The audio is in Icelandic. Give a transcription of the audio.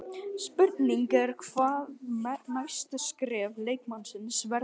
Spurning er hvað næsta skref leikmannsins verður?